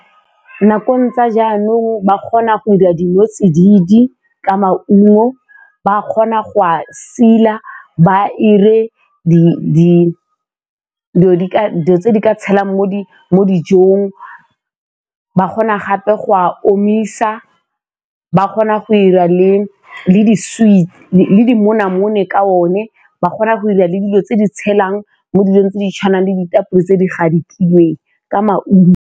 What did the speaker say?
Nakong tsa jaanong ba kgona go dira dinotsididi ka maungo, ba kgona go a sila ba 'ire dilo tse di ka tshelang mo dijong, ba kgona gape go a omisa ba kgona go 'ira le dimonamone ka one, ba kgona go dira le dilo tse di tshelang mo dilong tse di tshwanang le ditapole tse di gadikilweng ka maungo.